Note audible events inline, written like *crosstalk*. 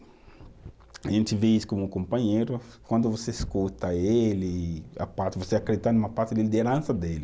A gente vê isso como companheiro, quando você escuta ele, *unintelligible* você acredita numa parte da liderança dele.